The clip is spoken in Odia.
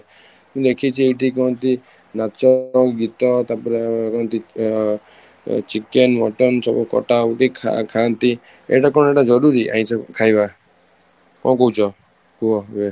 ମୁଁ ଦେଖିଛି ଏଠି କୁହନ୍ତି ନାଚ, ଗୀତ ତାପରେ କୁହନ୍ତି ଅଂ chicken, mutton ସବୁ କଟା କୁଟୀ ଖାଆ ଖାଆନ୍ତି ଏଇଟା କଣ ଏଇଟା ଜରୁରୀ ଆଇଁସ ଖାଇବା ,କଣ କହୁଛ କୁହ